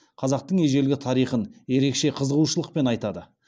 қазақтың ежелгі тарихын ерекше қызығушылықпен айтады